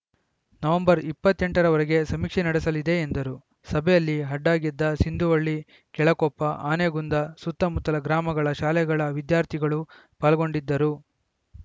November ಇಪ್ಪತ್ತ್ ಎಂಟರವರೆಗೆ ಸಮೀಕ್ಷೆ ನಡೆಸಲಿದೆ ಎಂದರು ಸಭೆಯಲ್ಲಿ ಅಡ್ಡಗೆದ್ದೆ ಸಿಂದುವಳ್ಳಿ ಕೆಳಕೊಪ್ಪ ಆನೆಗುಂದ ಸುತ್ತಮುತ್ತಲ ಗ್ರಾಮಗಳ ಶಾಲೆಗಳ ವಿದ್ಯಾರ್ಥಿಗಳು ಪಾಲ್ಗೊಂಡಿದ್ದರು